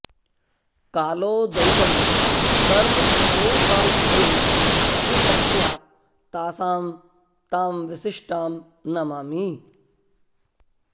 कालो दैवं कर्म सोपाधयो ये तस्या तासां तां विशिष्टां नमामि